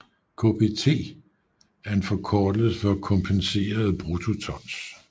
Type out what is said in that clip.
KBT er en forkortelse for kompenserede bruttotons